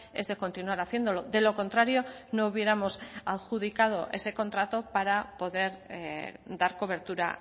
es de continuar haciéndolo de lo contrario no hubiéramos adjudicado ese contrato para poder dar cobertura